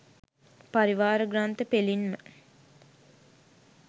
පරිවාර ග්‍රන්ථ පෙළින් ම